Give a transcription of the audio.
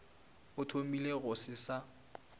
a thomile go se sa